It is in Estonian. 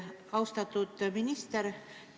Austatud minister!